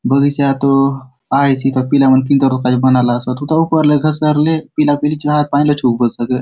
बगीचा तो आय ची एथा पीला मन किधर तो काजे बनाला सोत उथा ऊपरे घसरे पीला पीली चो हाथ पाय लचकुन बले सके।